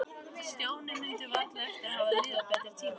Stjáni mundi varla eftir að hafa lifað betri tíma.